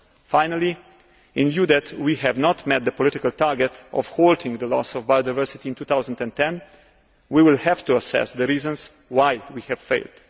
Finally, in view of the fact that we have not met the political target of halting the loss of biodiversity in 2010, we will have to assess the reasons why we have failed.